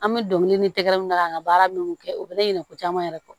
An bɛ dongili ni tɛgɛrɛ min na k'a baara minnu kɛ u bɛ la ɲinɛ ko caman yɛrɛ kɔ